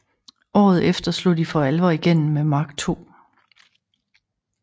Året efter slog de for alvor igennem med Mark II